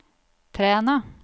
Træna